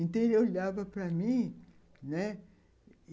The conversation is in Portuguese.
Então, ele olhava para mim, né? e